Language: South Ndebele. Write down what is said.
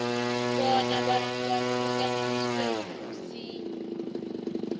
bona kuhlukaniswe msinyana